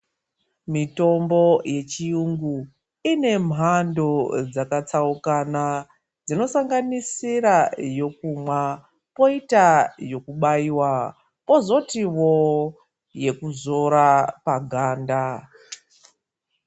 Mitombo yechiyungu ine mhando dzakatsaukana, dzinosanganisira yokumwa, poita yokubaiwa, pozotiwo yekuzora paganda.